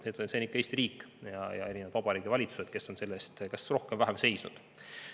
Need on ikka Eesti riik ja erinevad vabariigi valitsused, kes on selle eest kas rohkem või vähem seisnud.